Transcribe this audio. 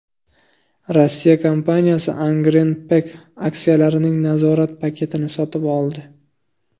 Rossiya kompaniyasi Angren Pack aksiyalarining nazorat paketini sotib oldi.